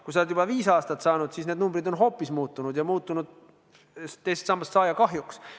Kui sa oled juba viis aastat saanud, siis need numbrid on hoopis muutunud, ja muutunud teisest sambast saaja kahjuks.